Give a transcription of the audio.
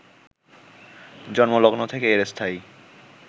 জন্মলগ্ন থেকে এর স্থায়ী